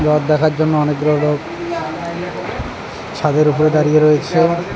রথ দেখার জন্য অনেকগুলো লোক ছাদের উপরে পরে দাঁড়িয়ে রয়েছে।